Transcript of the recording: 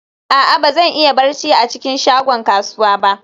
a'a, ba zan iya barci a cikin shagon kasuwa ba